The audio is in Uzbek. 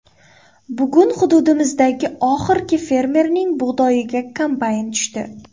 Bugun hududimizdagi oxirgi fermerning bug‘doyiga kombayn tushdi.